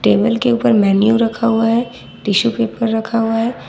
Table के ऊपर menu रखा हुआ है टिशू पेपर रखा हुआ है।